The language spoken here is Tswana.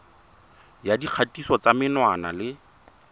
ya dikgatiso tsa menwana le